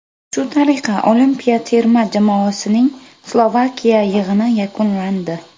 Shu tariqa olimpiya terma jamoasining Slovakiya yig‘ini yakunlandi.